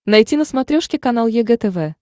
найти на смотрешке канал егэ тв